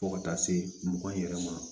Fo ka taa se mugan yɛrɛ ma